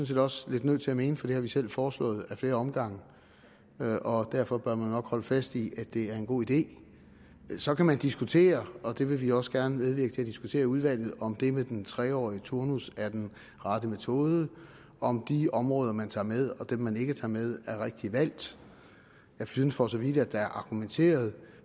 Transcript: set også lidt nødt til at mene for det har vi selv foreslået ad flere omgange og derfor bør vi nok holde fast i at det er en god idé så kan man diskutere og det vil vi også gerne medvirke til at diskutere i udvalget om det med den tre årige turnus er den rette metode og om de områder man tager med og dem man ikke tager med er rigtigt valgt jeg synes for så vidt at der er argumenteret